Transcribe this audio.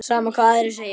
Sama hvað aðrir segja.